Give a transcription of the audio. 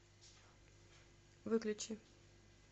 выключи